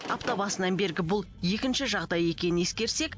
апта басынан бергі бұл екінші жағдай екенін ескерсек